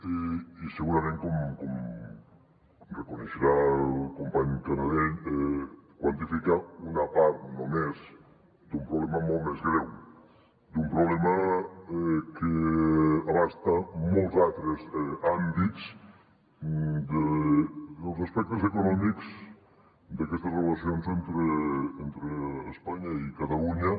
i segurament com deurà reconèixer el company canadell quantifica una part només d’un problema molt més greu d’un problema que abasta molts altres àmbits dels aspectes econòmics d’aquestes relacions entre espanya i catalunya